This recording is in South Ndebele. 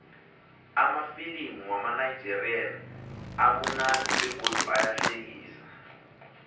amafilimu wamanigerian amunandi begodu ayahlekisa